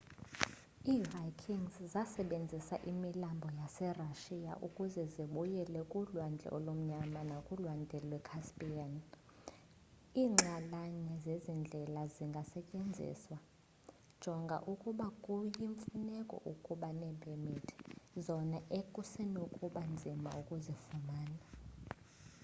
iivikings zasebenzisa imilambo yaserashiya ukuze zibuyele kulwandle olumnyama nakulwandle lwe-caspian iinxalanye zezi ndlela zingasetyenziswa jonga ukuba kuyimfuneko ukuba neepemithi zona ekusenokuba nzima ukuzifumana